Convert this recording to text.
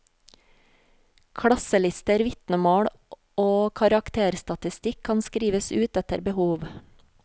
Klasselister, vitnemål og karakterstatistikk kan skrives ut etter behov.